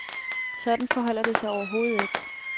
Sådan forholder det sig overhovedet ikke.